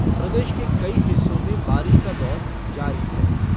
प्रदेश के कई हिस्सों में बारिश का दौर जारी है।